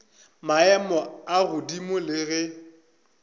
maemo a godimo le ge